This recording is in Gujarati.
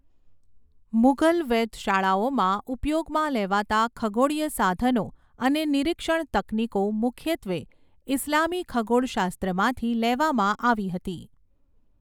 મુઘલ વેધશાળાઓમાં ઉપયોગમાં લેવાતા ખગોળીય સાધનો અને નિરીક્ષણ તકનીકો મુખ્યત્વે ઇસ્લામી ખગોળશાસ્ત્રમાંથી લેવામાં આવી હતી.